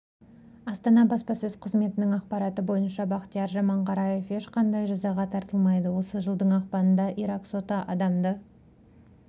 астана баспасөз қызметінің ақпараты бойынша бақтияр жаманғараев ешқандай жазаға тартылмайды осы жылдың ақпанында ирак соты адамды